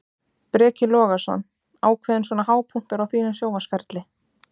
Breki Logason: Ákveðinn svona hápunktur á þínum sjónvarpsferli?